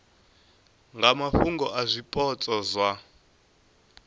nga mafhungo a zwipotso zwa